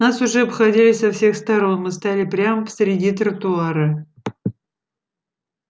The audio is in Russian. нас уже обходили со всех сторон мы стояли прямо посреди тротуара